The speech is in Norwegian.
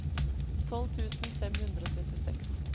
tolv tusen fem hundre og trettiseks